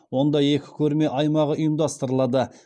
онда екі көрме аймағы ұйымдастырылады